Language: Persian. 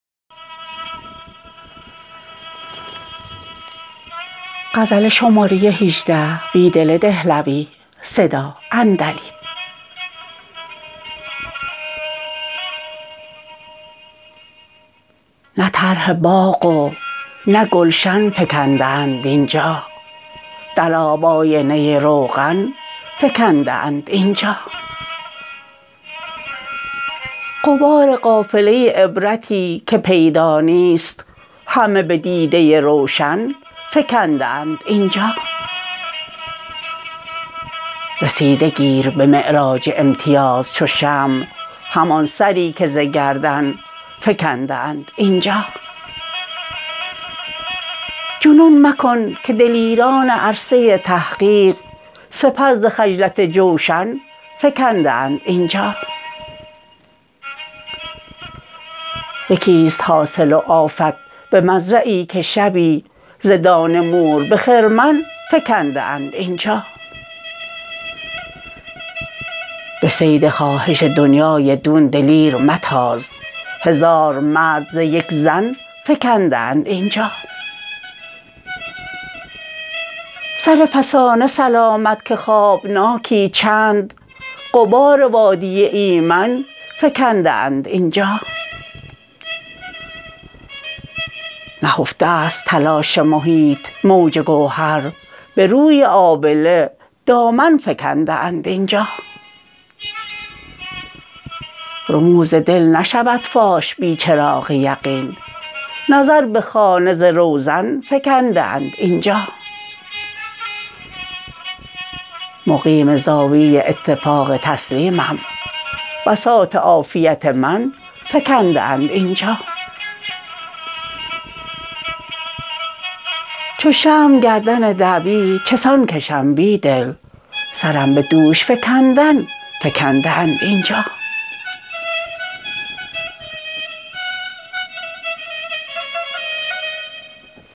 نه طرح باغ و نه گلشن فکنده اند اینجا در آب آینه روغن فکنده اند اینجا غبار قافله عبرتی که پیدا نیست همه به دیده روشن فکنده اند اینجا رسیده گیر به معراج امتیاز چو شمع همان سری که ز گردن فکنده اند اینجا جنون مکن که دلیران عرصه تحقیق سپر ز خجلت جوشن فکنده اند اینجا یکی ست حاصل و آفت به مزرعی که شبی ز دانه مور به خرمن فکنده اند اینجا به صید خواهش دنیای دون دلیر متاز هزار مرد ز یک زن فکنده اند اینجا سر فسانه سلامت که خوابناکی چند غبار وادی ایمن فکنده اند این جا نهفته است تلاش محیط موج گوهر یه روی آبله دامن فکنده اند اینجا رموز دل نشود فاش بی چراغ یقین نظر به خانه ز روزن فکنده ا ند اینجا مقیم زاویه اتفاق تسلیمم بساط عافیت من فکنده اند اینجا چو شمع گردن دعوی چسان کشم بیدل سرم به دوش فکندن فکند ه اند اینجا